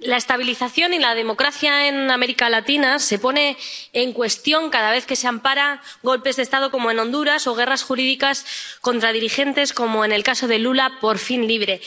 la estabilización y la democracia en América Latina se ponen en cuestión cada vez que se amparan golpes de Estado, como en Honduras, o guerras jurídicas contra dirigentes, como en el caso de Lula, por fin libre.